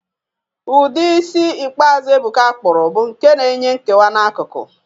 Ụdị isi ikpeazụ Ebuka kpụrụ bụ nke n'enwe nkewa n'akụkụ